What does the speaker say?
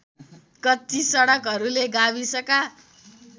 कच्ची सडकहरूले गाविसका